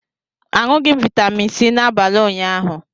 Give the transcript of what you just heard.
Aṅụghị m vitamin C n'abalị ụnyaahụ.